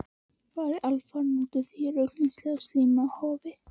Farið alfarinn út úr því ruglingslega og slímuga hofi.